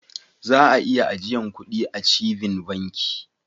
Za'a iya ajiyan kuɗi achieving banki.